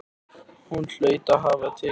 Hún hlaut að hafa tekið hana.